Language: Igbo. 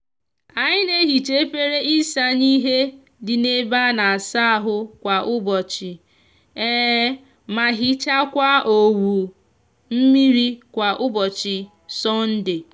anyi n'ehicha efere isanye ihe di n'ebe a n'asa ahu kwa ubochi ma hichakwa owu mmiri kwa ubochi sonde.